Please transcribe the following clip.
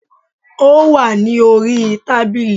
Ó wà ní orí i tábìlì